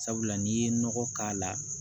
Sabula n'i ye nɔgɔ k'a la